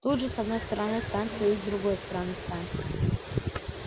тут же с одной стороны станция и с другой стороны станция